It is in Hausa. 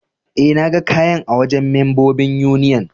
Eh, na gan kayan a wajen membobin Union.